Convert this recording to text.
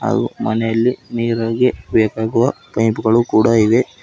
ಹಾಗು ಮನೆಯಲ್ಲಿ ನೀರಿಗೆ ಬೇಕಾಗುವ ಪೈಪ್ ಗಳು ಕೂಡ ಇವೆ.